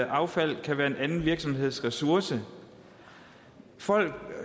affald kan være en anden virksomheds ressource folk